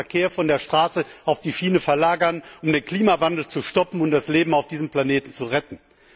Wir müssen den Verkehr von der Straße auf die Schiene verlagern, um den Klimawandel zu stoppen und das Leben auf diesem Planeten zu retten.